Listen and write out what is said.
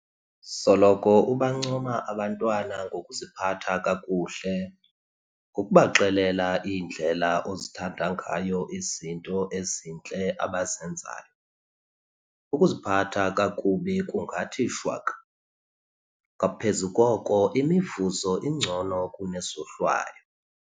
Soloko ubancoma abantwana ngokuziphatha kakuhle. Ngokubaxelela indlela ozithanda ngayo izinto ezintle abazenzayo, ukuziphatha kakubi kungathi shwaka. Ngaphezu koko, imivuzo ingcono kune zohlwayo.